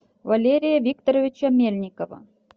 валерия викторовича мельникова